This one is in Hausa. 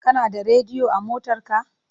Kana da rediyo a motarka?